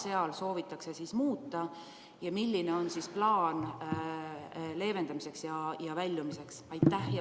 Mida soovitakse muuta ja milline üldse on plaan piirangute leevendamiseks ja nendest väljumiseks?